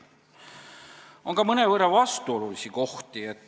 On ka mõnevõrra vastuolulisi kohti.